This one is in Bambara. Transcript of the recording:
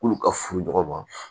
K'olu ka furu ɲɔgɔn ma